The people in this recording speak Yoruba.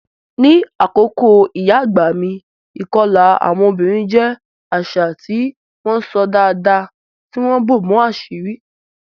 Ní àkókò ìyá àgbà mi, ìkọlà àwọn obìnrin jẹ́ àṣà tí wọ́n ṣọ́ dáadáa, tí wọ́n bò mọ́ àṣírí.